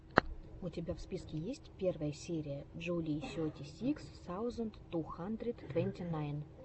у тебя в списке есть первая серия джулии сети сикс саузенд ту хандрид твэнти найн